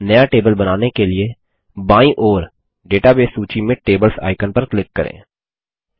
नया टेबल बनाने के लिए बायीं ओर डेटाबेस सूची में टेबल्स आइकन पर क्लिक करें